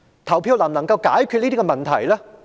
投票能否解決這些問題？